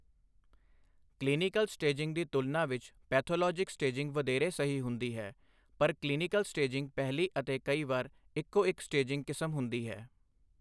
Clinical staging ਦੀ ਤੁਲਨਾ ਵਿੱਚ ਪੈਥੋਲੋਜਿਕ ਸਟੇਜਿੰਗ ਵਧੇਰੇ ਸਹੀ ਹੁੰਦੀ ਹੈ, ਪਰ ਕਲੀਨਿਕਲ ਸਟੇਜਿੰਗ ਪਹਿਲੀ ਅਤੇ ਕਈ ਵਾਰ ਇੱਕੋ ਇੱਕ ਸਟੇਜਿੰਗ ਕਿਸਮ ਹੁੰਦੀ ਹੈ।